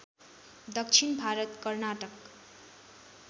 दक्षिण भारत कर्नाटक